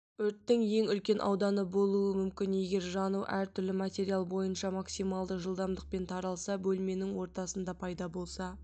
өрттің ең үлкен ауданы болуы мүмкін егер жану әртүрлі материал бойынша максималды жылдамдықпен таралса бөлменің ортасында пайда болса